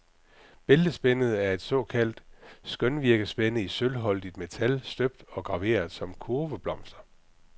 Bæltespændet er et såkaldt skønvirkespænde i sølvholdigt metal, støbt og graveret som kurveblomster.